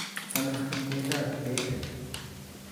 Somis ikwek ab beek